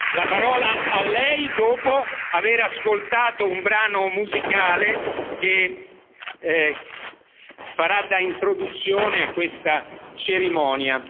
La parola a Lei dopo aver ascoltato un brano musicale che farà da introduzione a questa cerimonia.